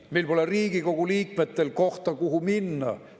Meil pole Riigikogu liikmetel kohta, kuhu minna.